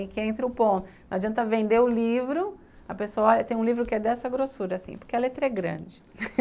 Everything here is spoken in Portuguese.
E que entre o ponto, não adianta vender o livro, a pessoa olha e tem um livro que é dessa grossura assim, porque a letra é grande.